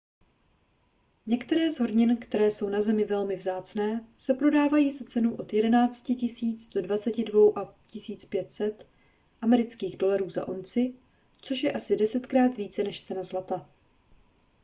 některé z hornin které jsou na zemi velmi vzácné se prodávají za cenu od 11 000 do 22 500 usd za unci což je asi desetkrát více než cena zlata